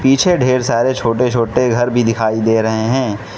पिछे ढेर सारे छोटे छोटे घर भी दिखाई दे रहे हैं।